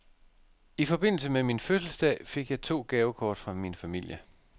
I forbindelse med min fødselsdag fik jeg to gavekort fra min familie.